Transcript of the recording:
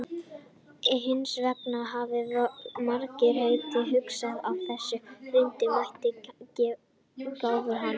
Hins vegar hafa margir leitt hugann að þessu og reynt að meta gáfur hans.